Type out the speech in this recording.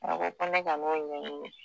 A ko ko ne kan'o ɲɛɲini